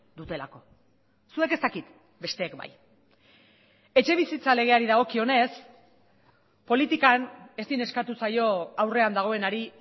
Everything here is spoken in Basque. dutelako zuek ez dakit besteek bai etxebizitza legeari dagokionez politikan ezin eskatu zaio aurrean dagoenari